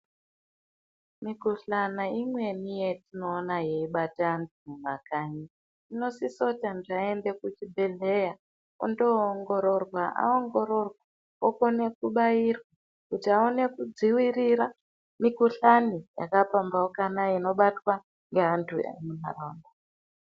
Mikuhlana imweni yatinoona yeibata antu mumakanyi. Inosisa kuti antu aende kuchibhedhleya ondoongororwa aongororwa okone kubairwa kuti aone kudzivirira mikuhlani yakapambauka inobatwa ngeantu emuntaraunda.